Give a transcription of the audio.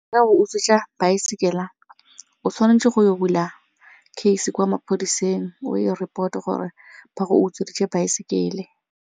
Utswetsa baesekele o tshwanetse go bula case kwa maphodiseng o e report-e gore ba go utsweditse baesekele.